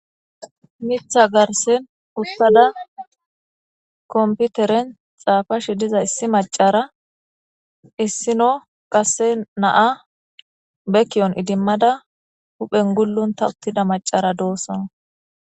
Miiththa garssen uttada komputeren xaafashshe diza issi macara issino qase naa be ki'oon idimmada huphphen gulluntta uttida macara doossona